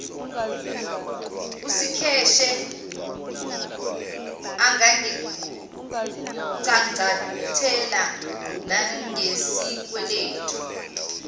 usikheshe angangicangcathela nangesikweledu